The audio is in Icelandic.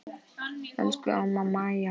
Elsku amma Maja.